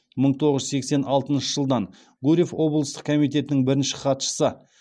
мың тоғыз жүз сексен алтыншы жылдан гурьев облыстық комитетінің бірінші хатшысы